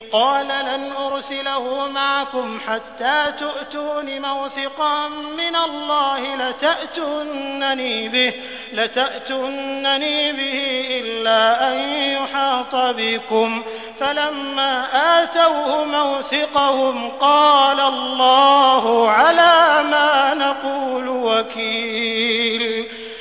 قَالَ لَنْ أُرْسِلَهُ مَعَكُمْ حَتَّىٰ تُؤْتُونِ مَوْثِقًا مِّنَ اللَّهِ لَتَأْتُنَّنِي بِهِ إِلَّا أَن يُحَاطَ بِكُمْ ۖ فَلَمَّا آتَوْهُ مَوْثِقَهُمْ قَالَ اللَّهُ عَلَىٰ مَا نَقُولُ وَكِيلٌ